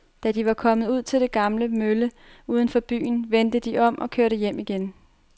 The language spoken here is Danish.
Da de var kommet ud til den gamle mølle uden for byen, vendte de om og kørte hjem igen.